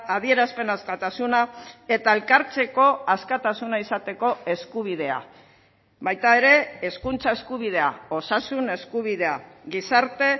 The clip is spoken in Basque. adierazpen askatasuna eta elkartzeko askatasuna izateko eskubidea baita ere hezkuntza eskubidea osasun eskubidea gizarte